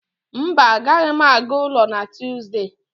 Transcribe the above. mba, agaghị m aga ụlọ na Tọzdee